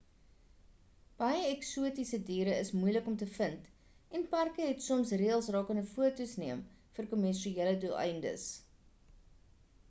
baie eksotiese diere is moeilik om te vind en parke het soms reels rakende fotos neem vir kommersiële doeleindes